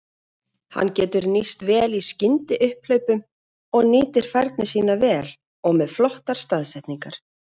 Hann getur nýst vel í skyndiupphlaupum og nýtir færin sín vel og með flottar staðsetningar.